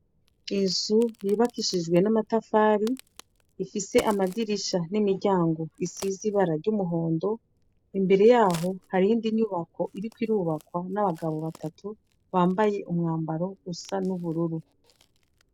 Inzu yubakishijwe n'amatafari ,ifise amadirisha n'imiryango bisize ibara ry'umuhondo. Imbere y'aho, har'iyindi nyubako iriko irubakwa n'abagabo batatu bambaye umwambaro usa n'ubururu.